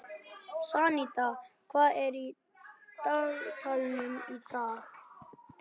Santía, hvað er í dagatalinu mínu í dag?